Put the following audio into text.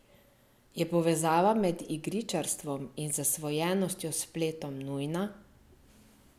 Je povezava med igričarstvom in zasvojenostjo s spletom nujna?